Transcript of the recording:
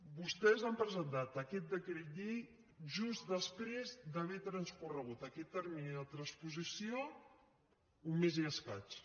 vostès han presentat aquests decret llei just després d’haver transcorregut aquest termini de transposició un mes i escaig